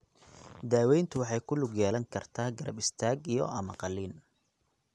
Daaweyntu waxay ku lug yeelan kartaa garab istaag iyo ama qalliin.